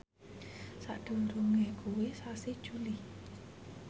sakdurunge kuwi sasi Juli